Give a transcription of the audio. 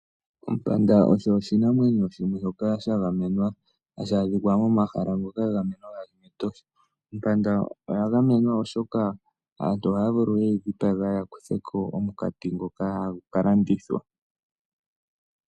Ompanda osho oshinamwenyo shagamenwa hashi adhika momahala ngoka gagamenwa ngaashi mEtosha. Ompanda oya gamenwa oshoka aantu ohaya vulu ye yidhipage yakutheko omukati ngoka hagu kalandithwa.